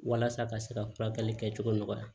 Walasa ka se ka furakɛli kɛ cogo nɔgɔya